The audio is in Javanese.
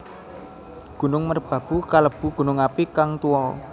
Gunung Merbabu kalebu gunung api kang tuwa